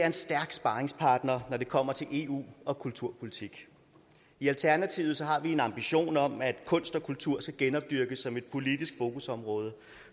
en stærk sparringspartner når det kommer til eu og kulturpolitik i alternativet har vi en ambition om at kunst og kultur skal genopdyrkes som et politisk fokusområde